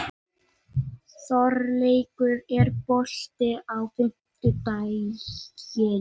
Þorleikur, er bolti á fimmtudaginn?